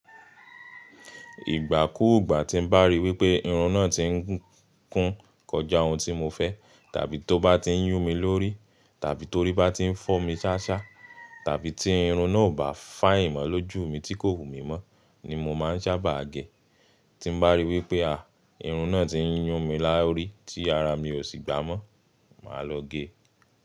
Ìgbà kúùgbà tí ń bá ríi wípé irun náà tí ń kún kọjá ohun tí mo fẹ́, tàbí tó bá ti ń yún mi lórí, tàbí torí bá ti ń fọ́ mi ṣáṣá, tàbí tí irun náà ò bá fine ìmọ̀ lójú mi tí kò wù mí mọ́ ni mo máa ń sábà gẹ̀. Tí ń bá ríi wípé à, irun náà ti ń yún mi lórí tí ara mi ò sì gbámọ́, màá lọ gé e.